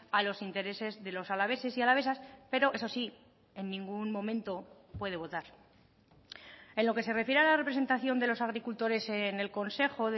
a los intereses de los alaveses y alavesas pero eso sí en ningún momento puede votar en lo que se refiere a la representación de los agricultores en el consejo